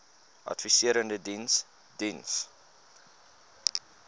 adviserende diens diens